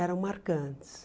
Eram marcantes.